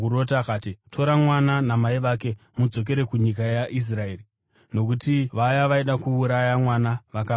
akati, “Tora mwana namai vake mudzokere kunyika yeIsraeri nokuti vaya vaida kuuraya mwana vakafa.”